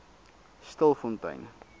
stilfontein